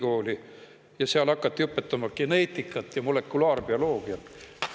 Õnneks Tartu Ülikoolis õpetati geneetikat ja molekulaarbioloogiat.